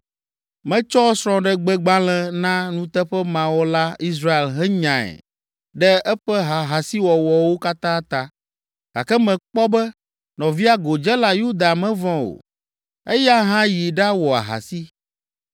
Metsɔ srɔ̃gbegbalẽ na nuteƒemawɔla Israel henyae ɖe eƒe ahasiwɔwɔwo katã ta, gake mekpɔ be nɔvia godzela Yuda mevɔ̃ o; eya hã yi ɖawɔ ahasi.